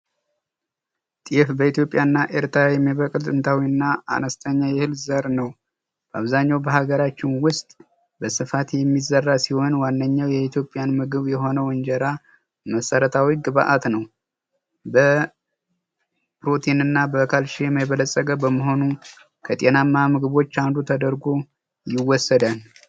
ጤፍ በኢትዮጵያና በኤርትራ የሚበቅልጥንታዊና አነስተኛ የእህል አይነት ነው። አብዛኛው በሀገራችን ውስጥ በስፋት የሚዘራ ሲሆን ዋነኛው የኢትዮጵያን ምግብ የሆነው እንጀራ መሰረታዊ ግብዓት ነው። በፕሮቲን የበለፀገ በመሆኑ ከጤናማ ምግቦች አንዱ ተደርጎ ይወሰዳል።